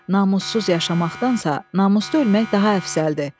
Namussuz yaşamaqdansa, namuslu ölmək daha əfzəldir.